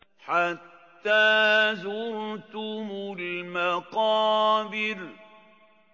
حَتَّىٰ زُرْتُمُ الْمَقَابِرَ